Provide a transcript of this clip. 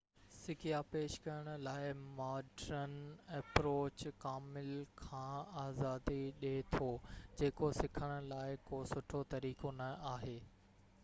سکيا پيش ڪرڻ لاءِ ماڊرن اپروچ ڪامل کان آزادي ڏي ٿو جيڪو سکڻ لاءِ ڪو سٺو طريقو نہ آهي